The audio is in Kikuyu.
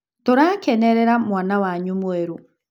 Tũrakenerera mwana wanyu mwerũ.